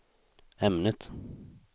ämnet